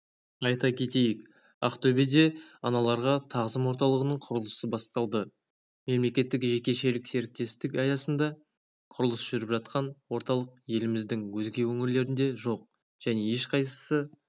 айта кетейік ақтөбеде аналарға тағзым орталығының құрылысы басталды мемлекеттік-жекешелік серіктестік аясында құрылысы жүріп жатқан орталық еліміздің өзге өңірлерінде жоқ және ешқайсысы